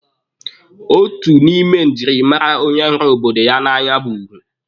Otu n'ime njirimara onye hụrụ obodo ya n'anya bụ ugwu.